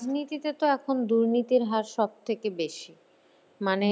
রাজনীতিতে তো এখন দুর্নীতির হার সবথেকে বেশি। মানে